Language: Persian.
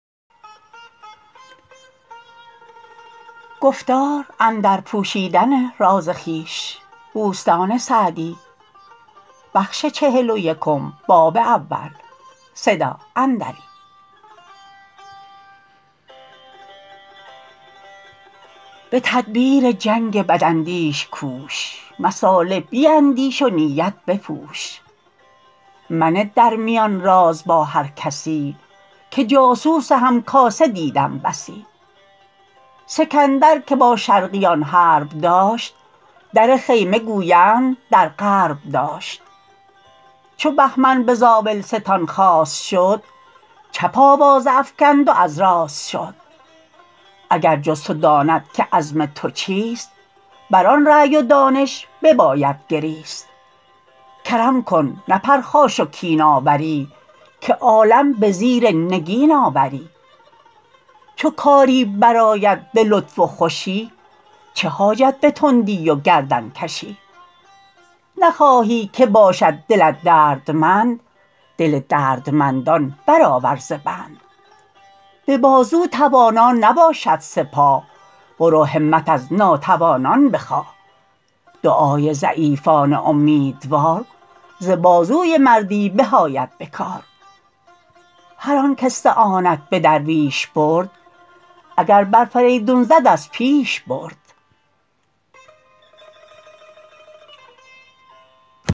به تدبیر جنگ بد اندیش کوش مصالح بیندیش و نیت بپوش منه در میان راز با هر کسی که جاسوس هم کاسه دیدم بسی سکندر که با شرقیان حرب داشت در خیمه گویند در غرب داشت چو بهمن به زاولستان خواست شد چپ آوازه افکند و از راست شد اگر جز تو داند که عزم تو چیست بر آن رای و دانش بباید گریست کرم کن نه پرخاش و کین آوری که عالم به زیر نگین آوری چو کاری بر آید به لطف و خوشی چه حاجت به تندی و گردن کشی نخواهی که باشد دلت دردمند دل دردمندان بر آور ز بند به بازو توانا نباشد سپاه برو همت از ناتوانان بخواه دعای ضعیفان امیدوار ز بازوی مردی به آید به کار هر آن کاستعانت به درویش برد اگر بر فریدون زد از پیش برد